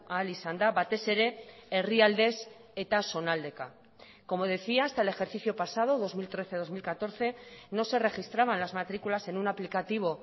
ahal izan da batez ere herrialdez eta zonaldeka como decía hasta el ejercicio pasado dos mil trece dos mil catorce no se registraban las matrículas en un aplicativo